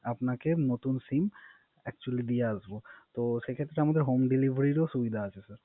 আপনাকে নতুন SIM Actually দিয়ে আসব। সেক্ষেতে আমাদের Home Delivery এর সুবিধা আছে Sir